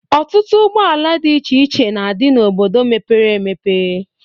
Ọtutụ ụgbọala dị iche na-adị n'obodo mepere emepe.